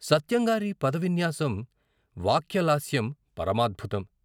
సత్యం గారి పదవిన్యాసం వాక్య లాస్యం పరమాద్భుతం.